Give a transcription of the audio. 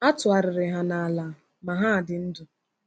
A tụgharịrị ha n’ala, ma ha dị ndụ.